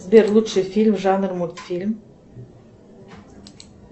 сбер лучший фильм жанр мультфильм